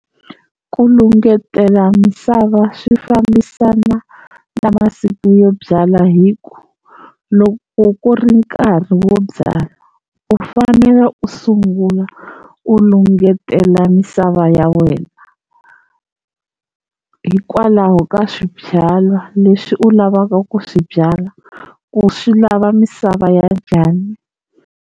Ku lungetela misava swi fambisana na masiku yo byala hi ku loko ku ri nkarhi wo byala u fanele u sungula u lungetela misava ya wena, hikwalaho ka swibyalwa leswi u lavaka ku swi byala ku swi lava misava ya njhani.